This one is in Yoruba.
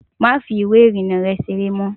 Máa fi ìwé ìrìnnà rę seré mó!